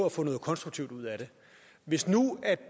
at få noget konstruktivt ud af det hvis nu